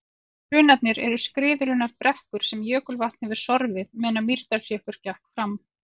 Hrunarnir eru skriðurunnar brekkur sem jökulvatn hefur sorfið meðan Mýrdalsjökull gekk framar.